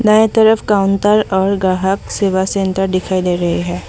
दाएँ तरफ काउंटर और ग्राहक सेवा सेंटर दिखाई दे रहे है।